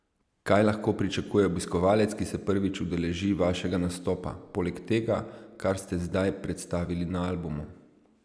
Kaj lahko pričakuje obiskovalec, ki se prvič udeleži vašega nastopa, poleg tega, kar ste zdaj predstavili na albumu?